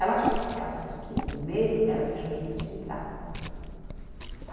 Ela acho que se assustou e com medo, ela deixou a gente entrar.